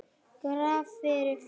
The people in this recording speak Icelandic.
Graf fyrir fisk.